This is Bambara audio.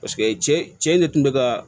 Paseke cɛ in ne kun bɛ ka